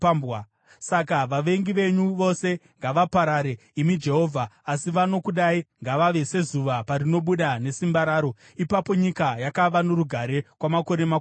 “Saka vavengi venyu vose ngavaparare, imi Jehovha! Asi vanokudai ngavave sezuva parinobuda nesimba raro.” Ipapo nyika yakava norugare kwamakore makumi mana.